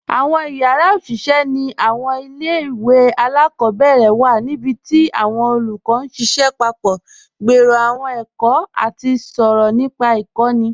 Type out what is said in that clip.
Awọn yara oṣiṣẹ ni awọn ilẹ̀-iwe aláàkọbẹ̀rẹ̀ wa nibíti awọn olúkọ̀ n ṣiṣẹ papọ̀, gbèrò awọn èkó, àti sọ̀rọ̀ nípa ikọ̀ni.